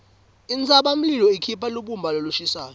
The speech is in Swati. intsabamlilo ikhipha lubumba lolushisako